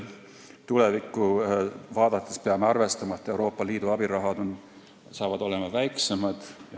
Tulevikku vaadates peame arvestama, et Euroopa Liidu abiraha on väiksem.